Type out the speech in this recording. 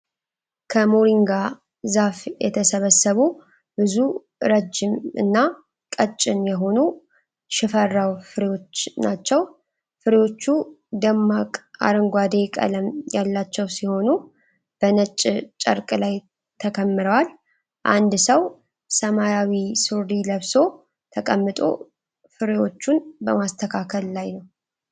ከሞሪንጋ ዛፍ የተሰበሰቡ ብዙ ረዥም እና ቀጭን የሆኑ ሽፈራው ፍሬዎች ናቸው። ፍሬዎቹ ደማቅ አረንጓዴ ቀለም ያላቸው ሲሆን፣ በነጭ ጨርቅ ላይ ተከምረዋል። አንድ ሰው ሰማያዊ ሱሪ ለብሶ ተቀምጦ ፍሬዎቹን በማስተካከል ላይ ነው።